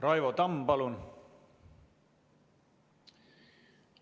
Raivo Tamm, palun!